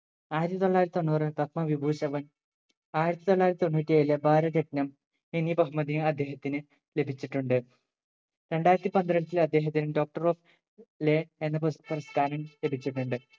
ആയിരത്തി തൊള്ളായിരത്തി തൊണ്ണൂറ് പത്മവിഭൂഷൻ ആയിരത്തി തൊള്ളായിരത്തി തൊണ്ണൂറ്റി ഏഴിലെ ഭാരതരത്നം എന്നി ബഹുമതി അദ്ദേഹത്തിന് ലഭിച്ചിട്ടുണ്ട് രണ്ടായിരത്തി പന്ത്രണ്ട്ൽ അദ്ദേഹത്തിന് Doctor of law എന്ന പുരസ് പുരസ്ക്കാരം ലഭിച്ചിട്ടുണ്ട്